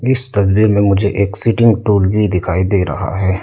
इस तस्वीर में मुझे एक सीटिंग टूल भी दिखाई दे रहा है।